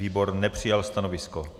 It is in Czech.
Výbor nepřijal stanovisko.